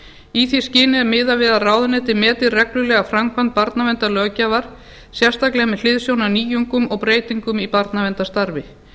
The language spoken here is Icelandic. í því skyni er miðað við að ráðuneytið meti reglulega framkvæmd barnaverndarlöggjafar sérstaklega með hliðsjón af nýjungum og breytingum í barnaverndarstarfi